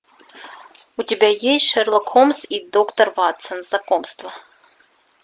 у тебя есть шерлок холмс и доктор ватсон знакомство